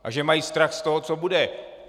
A že mají strach z toho, co bude.